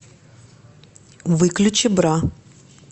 выключи бра